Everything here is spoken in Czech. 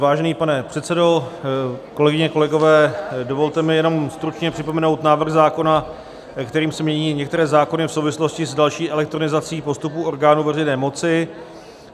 Vážený pane předsedo, kolegyně, kolegové, dovolte mi jenom stručně připomenout návrh zákona, kterým se mění některé zákony v souvislosti s další elektronizací postupů orgánů veřejné moci.